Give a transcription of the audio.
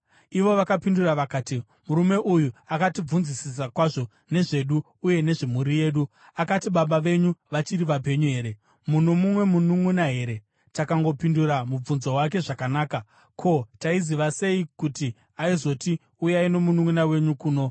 Ivo vakapindura vakati, “Murume uyu akatibvunzisisa kwazvo nezvedu uye nezvemhuri yedu. Akati, ‘Baba venyu vachiri vapenyu here? Muno mumwe mununʼuna here?’ Takangopindura mubvunzo wake zvakanaka. Ko, taiziva sei kuti aizoti, ‘Uyai nomununʼuna wenyu kuno?’ ”